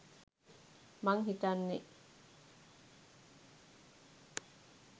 මං හිතන්නෙ.